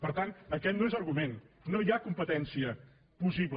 per tant aquest no és argument no hi ha competència possible